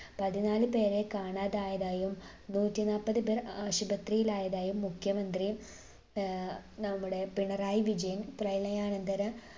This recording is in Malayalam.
പതിനാല് പേരെ കാണാതായതായും നൂറ്റിനാല്പത് പേർ ആശുപത്രിയിലായതായും മുഖ്യമന്ത്രി ഏർ നമ്മുടെ പിണറായി വിജയൻ പ്രളയാനന്തര